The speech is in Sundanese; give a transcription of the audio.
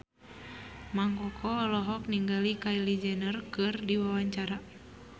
Mang Koko olohok ningali Kylie Jenner keur diwawancara